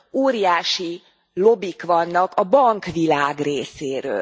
óriási lobbik vannak a bankvilág részéről.